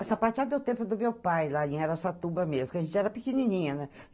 O sapateado é o tempo do meu pai, lá em Araçatuba mesmo, que a gente era pequenininha, né?